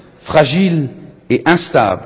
plus fragile et instable.